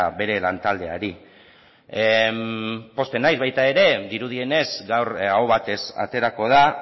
bere lantaldeari pozten naiz baita ere dirudienez gaur aho batez aterako da